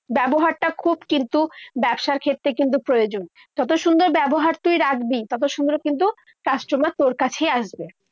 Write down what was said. ব্যবহারটা খুব কিন্তু ব্যবসার ক্ষেত্রে কিন্তু প্রয়োজন। যত সুন্দর ব্যবহার তুই রাখবি, তত সুন্দর কিন্তু customer তোর কাছেই আসবে।